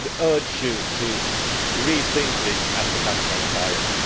I would urge you to re think this and become transparent.